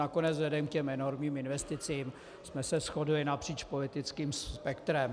Nakonec vzhledem k těm enormním investicím jsme se shodli napříč politickým spektrem.